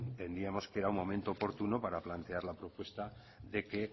entendíamos que era un momento oportuno para plantear la propuesta de que